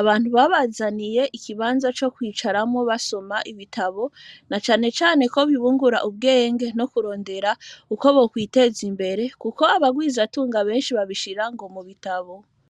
abantu babazaniye ikibanza co kwicaramwo basoma ibitabo nacane cane ko bibungura ubwenge no kurondera uko bokwiteza imbere kuko ngo abagwiza tunga beshi babishira ngo mu bitabo.